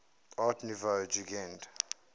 art nouveau jugend